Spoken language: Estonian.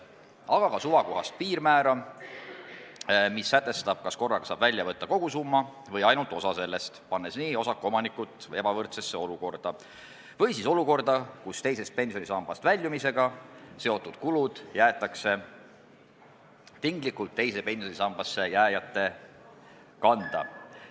Kasutada tuleks ka suvakohast piirmäära, mis sätestab, kas korraga saab välja võtta kogu summa või ainult osa sellest, sest osaku omanikke ei tohiks panna ebavõrdsesse seisu või siis olukorda, kus teisest pensionisambast väljumisega seotud kulud jäetakse tinglikult teise pensionisambasse jääjate kanda.